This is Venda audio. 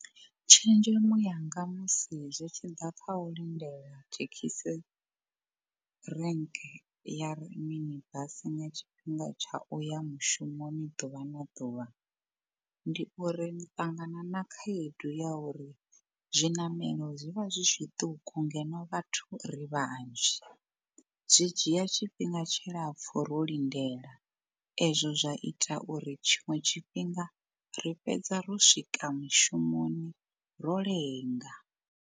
Tshenzhemo yanga musi zwi tshi ḓa kha u lindela thekhisi rank ya ri mini basi nga tshifhinga tsha uya mushumoni ḓuvha na ḓuvha. Ndi uri ni ṱangana na khaedu ya uri zwiṋamelo zwivha zwi zwiṱuku ngeno vhathu ri vhanzhi, zwi dzhia tshifhinga tshilapfhu ro lindela, ezwo zwa ita uri tshiṅwe tshifhinga ri fhedza ro swika mushumoni ro lenga.